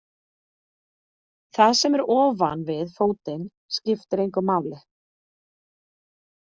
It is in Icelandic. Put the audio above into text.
Það sem er ofan við fótinn skiptir engu máli.